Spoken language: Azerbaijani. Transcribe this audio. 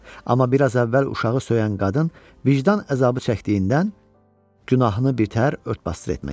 Amma biraz əvvəl uşağı söyən qadın vicdan əzabı çəkdiyindən günahını bitər-ört-basdır etmək istəyirdi.